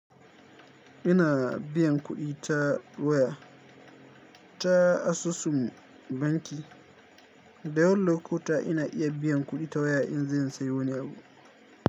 Ina biyan kuɗi ta waya ta asusun banki, da yawan lokuta ina iya biyan kuɗi ta waya in zan sayo wani abu.